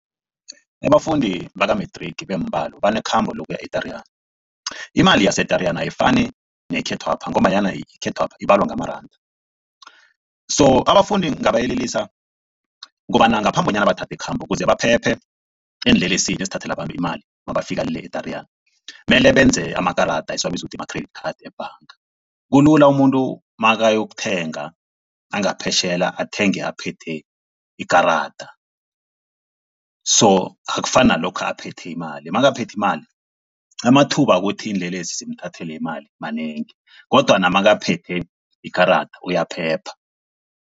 Abafundi baka-matric beembalo banekhamba lokuya e-Tariyana. Imali yase-Tariyana ayifani neyekhethwapha ngombanyana yekhethwapha ibalwa ngamaranda, so abafundi ngingabayelelisa kobana ngaphambi bonyana bathathe ikhambo ukuze baphephe eenlelesini azithathele abantu imali mabafika le e-Tariyana mele benze amakarada esiwabiza ukuthi ma-credit cards ebhanga. Kulula umuntu makayokuthenga angaphetjheya athenge aphethe ikarada so akufani nalokha aphethe imali makaphethe imali amathuba wokuthi iinlelesi zimthathele imali manengi kodwana makaphethe ikarada uyaphepha.